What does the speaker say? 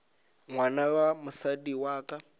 ngwana wa mosadi wa ka